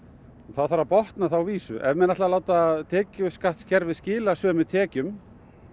þá þarf að botna þá vísu ef menn ætla að láta tekjuskattskerfið skila sömu tekjum